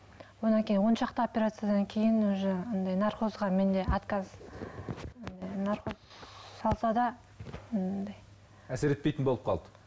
одан кейін он шақты операциядан кейін уже андай наркозға менде отказ наркоз салса да әсер етпейтін болып қалды